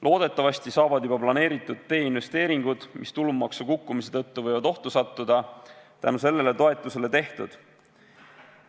Loodetavasti saavad juba planeeritud teeinvesteeringud, mis tulumaksu kukkumise tõttu võivad ohtu sattuda, tänu sellele toetusele tehtud.